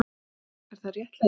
Er það réttlæti?